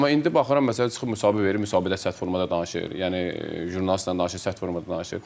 Amma indi baxıram məsələn çıxıb müsahibə verib, müsahibədə sərt formada danışır, yəni jurnalistlə danışır, sərt formada danışır.